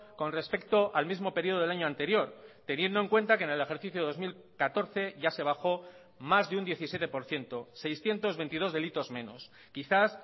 con respecto al mismo periodo del año anterior teniendo en cuenta que en el ejercicio dos mil catorce ya se bajó más de un diecisiete por ciento seiscientos veintidós delitos menos quizás